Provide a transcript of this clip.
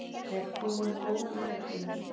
Er frúin góð í leikfimi?